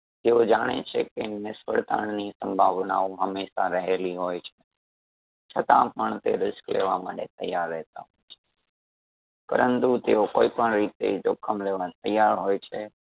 તેઓ જાણે છે કે નિષ્ફળતાની સંભાવનાઓ હમેશા રહેલી હોય છે . છતાં પણ તે risk લેવા માટે તૈયાર રહેતાં હોય છે પરંતુ તેઓ કોઈ પણ રીતે જોખમ લેવા તૈયાર હોય છે